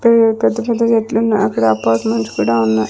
పెద్ద పెద్ద చెట్లు ఉన్నాయ్ అక్కడ అపార్ట్మెంట్స్ కూడా ఉన్నాయి.